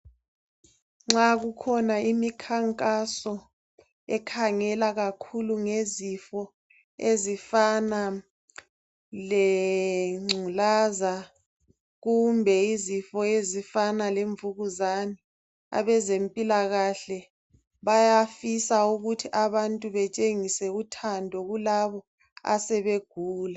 Nxa kukhona imikhankaso ekhangela kakhulu ngezifo ezifana lengculaza kumbe izifo ezifana lemvukuzane abezempilakahle bayafisa ukuthi abantu batshengise uthando kulabo asebegula